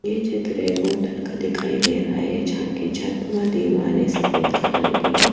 ये चित्र एक होटल का दिखाई दे रहा है जहा की छत व दिवारे कलर की --